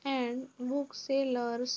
and book sellers --